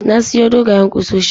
Na siyo dogayen kusoshin